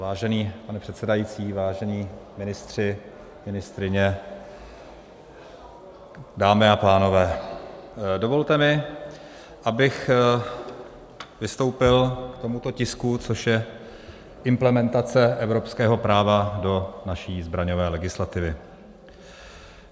Vážený pane předsedající, vážení ministři, ministryně, dámy a pánové, dovolte mi, abych vystoupil k tomuto tisku, což je implementace evropského práva do naší zbraňové legislativy.